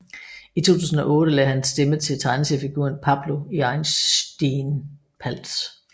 I 2008 lagde han stemme til tegneseriefiguren Pablo i Einstien Pals